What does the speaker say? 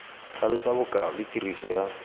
tlhalosa bokao le tiriso ya